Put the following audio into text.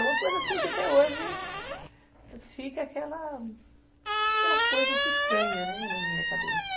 É uma coisa assim que até hoje fica aquela, aquela coisa estranha na minha cabeça.